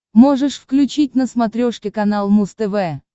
можешь включить на смотрешке канал муз тв